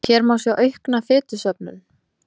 Hér má sjá aukna fitusöfnun.